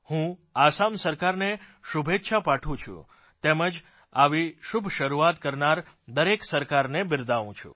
હું આસામ સરકારને શુભેચ્છા પાઠવું છું તેમજ આવી શુભ શરૂઆત કરનાર દરેક સરકારને બિરદાવું છું